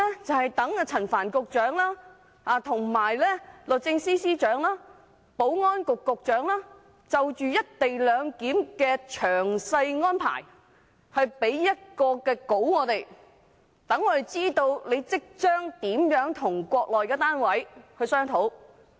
就是待陳帆局長、律政司司長和保安局局長就"一地兩檢"的詳細安排給我們一份文件，讓我們知道他們將如何與國內的單位商討。